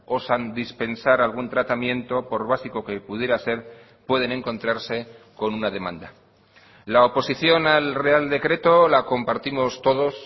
osan dispensar algún tratamiento por básico que pudiera ser pueden encontrarse con una demanda la oposición al real decreto la compartimos todos